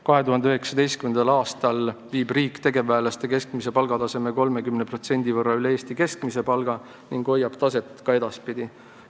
2019. aastal viib riik tegevväelaste keskmise palga 30% võrra üle Eesti keskmise palga ning hoiab seda taset ka edaspidi.